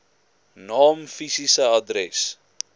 naam fisiese adres